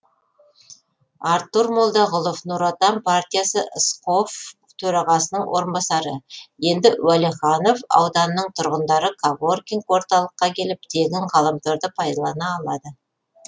артур молдағұлов нұр отан партиясы сқоф төрағасының орынбасары енді уәлиханов ауданының тұрғындары коворкинг орталыққа келіп тегін ғаламторды пайдалана алады